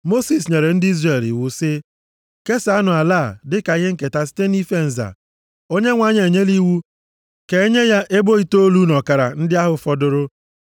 Mosis nyere ndị Izrel iwu sị, “Kesaanụ ala a dịka ihe nketa site nʼife nza. Onyenwe anyị enyela iwu ka enye ya ebo itoolu na ọkara ndị ahụ fọdụrụ.